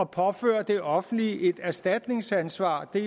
påføre det offentlige et erstatningsansvar det